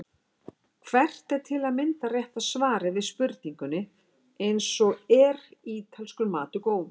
Hvert er til að mynda rétta svarið við spurningum eins og Er ítalskur matur góður?